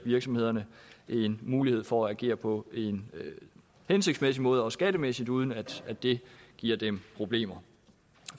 virksomhederne en mulighed for at agere på en hensigtsmæssig måde også skattemæssigt uden at at det giver dem problemer